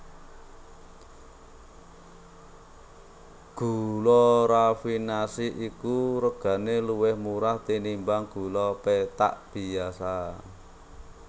Gula rafinasi iki regané luwih murah tinimbang gula pethak biyasa